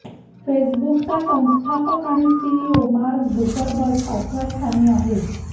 फेसबुकचा संस्थापक आणि सीईओ मार्क झुकरबर्ग पाचव्या स्थानी आहेत